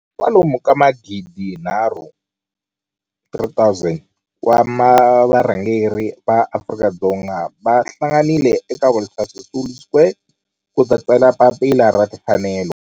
kwalomu ka magidinharhu, 3 000, wa varhangeri va maAfrika-Dzonga va hlanganile eka Walter Sisulu Square ku ta tsala Papila ra Timfanelo.